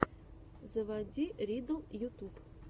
заводи риддл ютуб